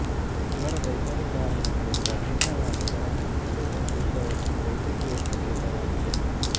ಜ್ವರದ ಇತರೆ ಕಾರಣಗಳಿಂದ ಭಿನ್ನವಾಗಿ ಪರಿಗಣಿಸಲು ಒಂದು ಉಪಯುಕ್ತ ವೈದ್ಯಕೀಯ ಸಂಕೇತವಾಗಿದೆ